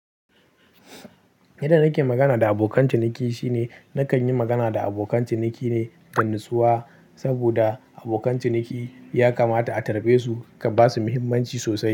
Yadda nake magana da abokan ciniki shine nakan yi magana da abokan ciniki ne da natsuwa saboda abokan ciniki ya kamata a karbesu, ka ba su muhimmanci sosai.